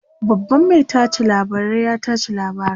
babban Mai tace labarai ya tace labaran